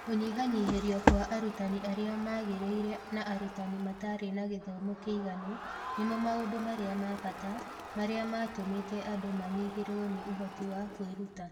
Kũnyihanyihĩrio kwa arutani arĩa magĩrĩire na arutani matarĩ na gĩthomo kĩiganu nĩmo maũndũ marĩa ma bata marĩa matũmĩte andũ manyihĩrwo nĩ ũhoti wa kwĩruta.